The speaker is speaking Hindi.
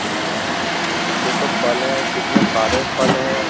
हे भाई ये तो फल है कितने सारे फल हैं।